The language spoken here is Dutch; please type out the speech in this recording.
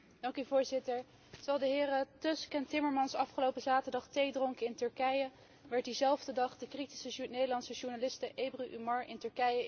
Terwijl de heren Tusk en Timmermans afgelopen zaterdag thee dronken in Turkije, werd diezelfde dag de kritische Nederlandse journaliste Ebru Umar in Turkije in de cel gegooid.